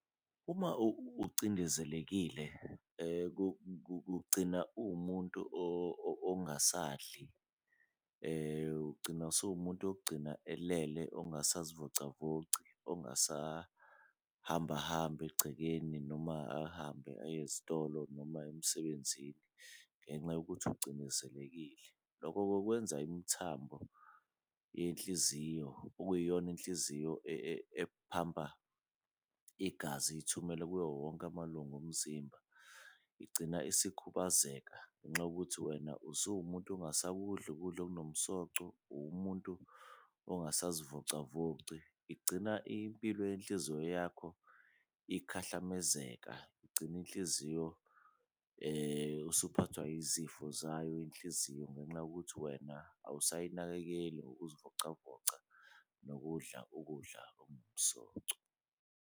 Uma ucindezelekile ugcina uwumuntu ongasadli, ugcina usuwumuntu elele ongasazivocavoci ongasahambahambi egcekeni, noma ahambe aye ezitolo noma emsebenzini, ngenxa yokuthi ucindezelekile. Loko-ke kwenza imithambo yenhliziyo okuyiyona inhliziyo ephampa igazi ithumela kuwowonke amalunga omzimba, igcina isikhubazeka ngenxa yokuthi wena usuwumuntu ongasakudli ukudla okunomsoco, uwumuntu ongasazivocavoci. Igcina impilo yenhliziyo yakho ikhahlamezeka, igcine inhliziyo usuphathwa izifo zayo inhliziyo, ngenxa yokuthi wena awusayinakekeli ngokuzivocavoca nokudla ukudla .